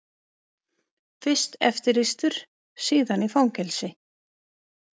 Fyrst eftirlýstur, síðan í fangelsi.